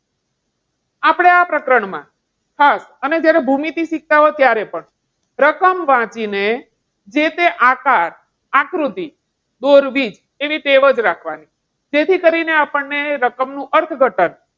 કયા પ્રકરણમાં હા અને જ્યારે ભૂમિતિ શીખતા હોય ત્યારે પણ રકમ વાંચીને, જે તે આકાર આકૃતિ દોરવી, એવી ટેવ જ રાખવાની. જેથી કરીને આપણને રકમનું અર્થઘટન,